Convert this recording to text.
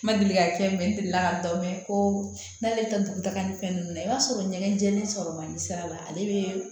N ma deli ka fɛn min mɛn n delila ka dɔ mɛn ko n'ale tɛ dugu taga ni fɛn ninnu na i b'a sɔrɔ ɲɛgɛn jɛɛlen sɔrɔ man di sira la ale bɛ